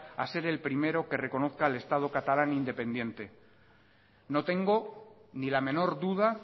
a ser el primero que reconozca el estado catalán independiente no tengo ni la menor duda